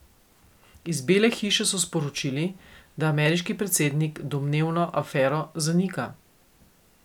Iz Bele hiše so sporočili, da ameriški predsednik domnevno afero zanika.